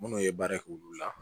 Minnu ye baara k'olu la